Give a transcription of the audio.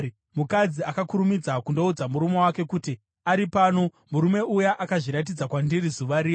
Mukadzi akakurumidza kundoudza murume wake kuti, “Ari pano! Murume uya akazviratidza kwandiri zuva riya!”